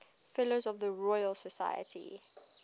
fellows of the royal society